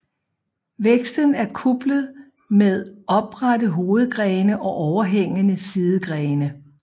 Væksten er kuplet med oprette hovedgrene og overhængende sidegrene